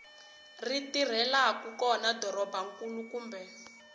ri tirhelaku kona dorobankulu kumbe